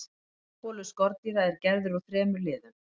frambolur skordýra er gerður úr þremur liðum